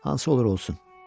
Hansı olur olsun.